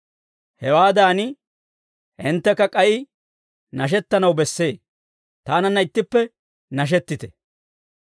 Hewaadan hinttekka k'ay nashettanaw bessee; taananna ittippe nashettite.